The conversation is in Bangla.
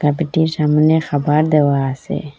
সামনে খাবার দেওয়া আসে ।